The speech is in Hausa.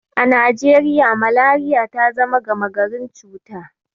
A Najeriya, Malariya ta zama gama garin cuta.